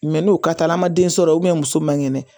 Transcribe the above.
Mɛ n'o ka taala ma den sɔrɔ muso man kɛnɛ